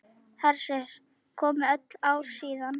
Hersir: Komið öll ár síðan?